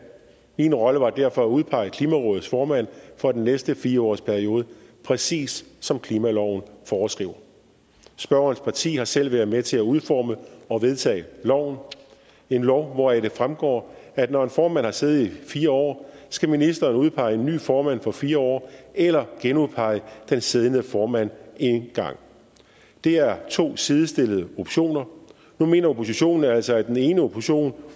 min rolle var derfor at udpege klimarådets formand for den næste fire årsperiode præcis som klimaloven foreskriver spørgerens parti har selv været med til at udforme og vedtage loven en lov hvoraf det fremgår at når en formand har siddet i fire år skal ministeren udpege en ny formand for fire år eller genudpege den siddende formand en gang det er to sidestillede optioner nu mener oppositionen altså at den ene option